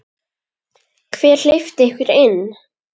Hver hleypti ykkur inn?